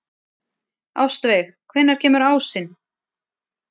Ástveig, hvenær kemur ásinn?